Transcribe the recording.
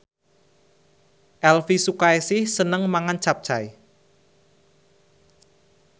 Elvi Sukaesih seneng mangan capcay